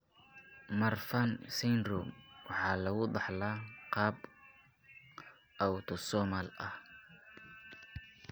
Marfan Syndrome waxa lagu dhaxlaa qaab autosomal ah.